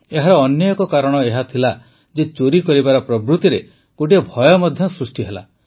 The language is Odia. ଏହାର ଅନ୍ୟ ଏକ କାରଣ ଏହା ଥିଲା ଯେ ଚୋରି କରିବାର ପ୍ରବୃତିରେ ଗୋଟିଏ ଭୟ ମଧ୍ୟ ସୃଷ୍ଟି ହେଲା